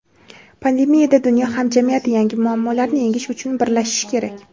pandemiyada dunyo hamjamiyati yangi muammolarni yengish uchun birlashishi kerak.